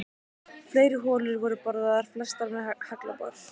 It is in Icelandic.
Fleiri holur voru boraðar, flestar með haglabor.